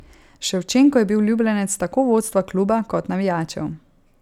Ševčenko je bil ljubljenec tako vodstva kluba kot navijačev.